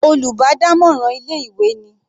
Olùbádámọ̀ràn ilé ìwé ni.